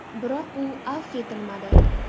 Biroq u afv etilmadi.